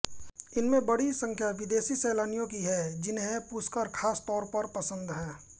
इनमें बडी संख्या विदेशी सैलानियों की है जिन्हें पुष्कर खास तौर पर पसंद है